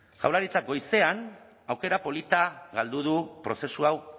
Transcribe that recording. jaurlaritzak goizean aukera polita galdu du prozesu hau